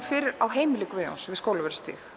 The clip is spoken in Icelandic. fyrir á heimili Guðjóns við Skólavörðustíg